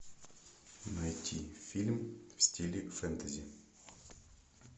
найти фильм в стиле фэнтези